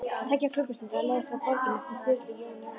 Tveggja klukkustunda leið frá borginni eftir Sturlu Jón Jónsson